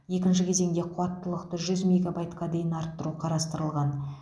екінші кезеңде қуаттылықты жүз мегабайтқа дейін арттыру қарастырылған